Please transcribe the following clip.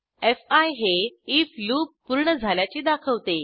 fee हे IF loop पूर्ण झाल्याचे दाखवते